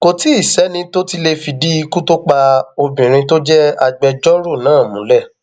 kò tí ì sẹni tó tí ì lè fìdí ikú tó pa obìnrin tó jẹ agbẹjọrò náà múlẹ